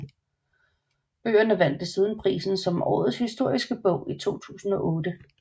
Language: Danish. Bøgerne vandt desuden prisen som Årets Historiske Bog i 2008